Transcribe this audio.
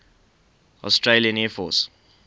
australian air force